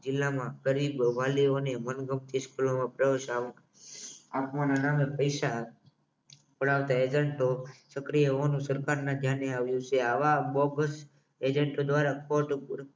જિલ્લામાં ફરી મનગમતી સ્કૂલમાં પ્રવેશ આપવાના નામે પૈસા પડાવતા એજન્ટો સક્રિય હોવાને સરકારને આવ્યું છે આવા બોગસ એજન્ટ દ્વારા ફોટો